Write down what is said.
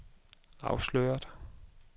afsløret